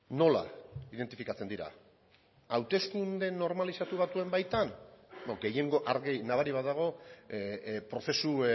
nola identifikatzen dira hauteskunde normalizatu batzuen baitan gehiengo argi nabari bat dago prozesu